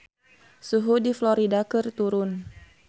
Suhu di Florida keur turun